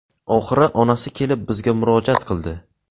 Oxiri onasi kelib bizga murojaat qildi.